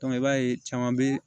i b'a ye caman bɛ